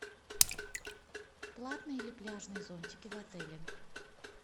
платные ли пляжные зонтики в отеле